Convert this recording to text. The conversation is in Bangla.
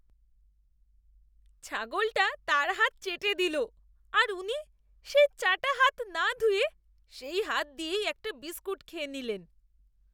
ছাগলটা তাঁর হাত চেটে দিল আর উনি সেই চাটা হাত না ধুয়ে সেই হাত দিয়েই একটা বিস্কুট খেয়ে নিলেন।